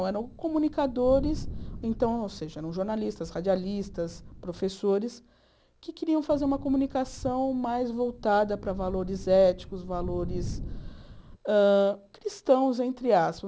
Eram comunicadores, ou seja, eram jornalistas, radialistas, professores, que queriam fazer uma comunicação mais voltada para valores éticos, valores hã cristãos, entre aspas.